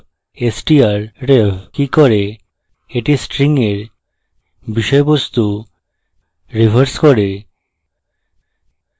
strvev কি করে এটি string এর বিষয়বস্তু reverses করে